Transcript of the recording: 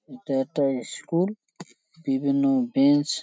এটা একটা ই-স্কুল বিভিন্ন বেঞ্চ --